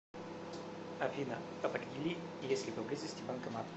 афина определи есть ли поблизости банкомат